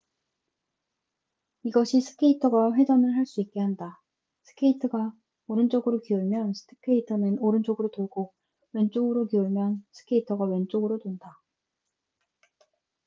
이것이 스케이터가 회전을 할 수 있게 한다 스케이트가 오른쪽으로 기울면 스케이터는 오른쪽으로 돌고 왼쪽으로 기울면 스케이터가 왼쪽으로 돈다